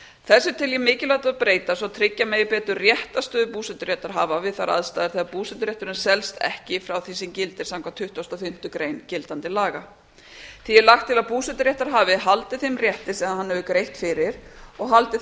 þessu tel ég mikilvægt að breyta svo tryggja megi betur réttarstöðu búseturéttarhafa við þær aðstæður þegar búseturétturinn selst ekki frá því sem gildir samkvæmt tuttugustu og fimmtu grein gildandi laga því er lagt til að búseturéttarhafi haldi þeim rétti sem hann hefur greitt fyrir og haldi